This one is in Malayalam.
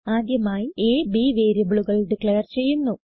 ആദ്യമായി a b വേരിയബിളുകൾ ഡിക്ലേർ ചെയ്യുന്നു